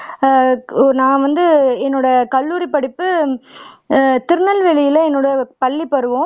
அஹ் நான் வந்து என்னோட கல்லூரிப்படிப்பு அஹ் திருநெல்வேலில என்னோட பள்ளிப்பருவம்